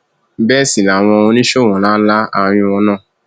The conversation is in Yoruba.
bẹẹ sì làwọn oníṣòwò ńlá ńlá àárín wọn náà